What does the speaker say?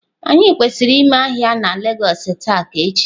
Anyi kwesiri ime ahia na lagos taa ka echi?